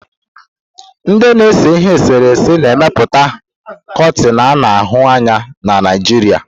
Ndị na-ese ihe eserese na-emepụta koneti ana ahu anya na Naijiria.